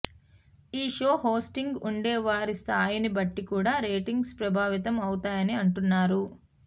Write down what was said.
ఈ షో హోస్ట్గా ఉండేవారి స్థాయిని బట్టి కూడా రేటింగ్స్ ప్రభావితం అవుతాయని అంటున్నారు